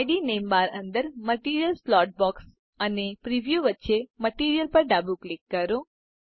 ID name bar અંદર material slot box અને preview વચ્ચે મટીરિયલ પર ડાબું ક્લિક કરો